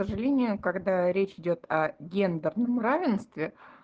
к сожалению когда речь идёт о гендерном равенстве